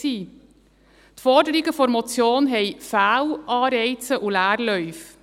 – Die Forderungen der Motion haben Fehlanreize und Leerläufe.